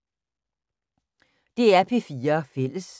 DR P4 Fælles